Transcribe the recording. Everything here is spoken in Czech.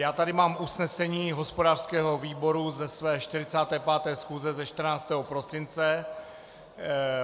Já tady mám usnesení hospodářského výboru ze své 45. schůze ze 14. prosince.